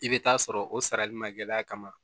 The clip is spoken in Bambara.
I bɛ taa sɔrɔ o sarali ma gɛlɛya kama